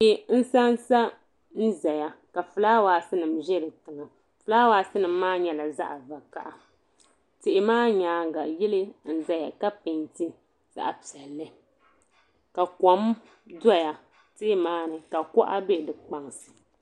Tihi n sansa n zaya ka filaawaasi nima za di tooni filaawaasi nima maa nyɛla zaɣa vakaha tihi maa nyaanga yili n zaya ka penti zaɣa piɛli ka kom doya tihi maani ka kuɣa be di kpaŋsi.